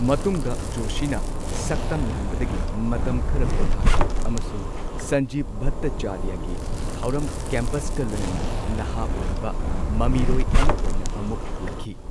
ꯃꯇꯨꯡꯗ ꯖꯣꯁꯤꯅ ꯁꯛꯇꯝ ꯂꯥꯡꯕꯗꯒꯤ ꯃꯇꯝ ꯈꯔ ꯄꯣꯊꯥꯈꯤ ꯑꯃꯁꯨꯡ ꯁꯟꯖꯤꯕ ꯚꯠꯇꯆꯥꯔꯌꯒꯤ ꯊꯧꯔꯝ ꯀꯦꯝꯄꯁꯀ ꯂꯣꯏꯅꯅ ꯅꯍꯥ ꯑꯣꯏꯔꯤꯕ ꯃꯃꯤꯔꯣꯏ ꯑꯃ ꯑꯣꯏꯅ ꯑꯃꯨꯛ ꯍꯜꯂꯛꯈꯤ꯫